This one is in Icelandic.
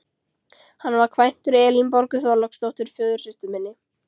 Hann var kvæntur Elínborgu Þorláksdóttur, föðursystur minni.